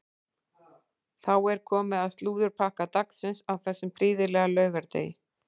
Þá er komið að slúðurpakka dagsins á þessum prýðilega laugardegi.